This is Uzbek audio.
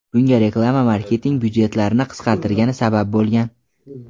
Bunga reklama marketing byudjetlarini qisqartirgani sabab bo‘lgan.